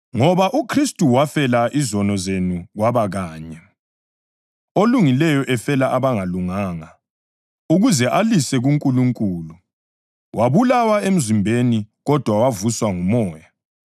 Ngoba uKhristu wafela izono zenu kwaba kanye, olungileyo efela abangalunganga, ukuze alise kuNkulunkulu. Wabulawa emzimbeni, kodwa wavuswa nguMoya,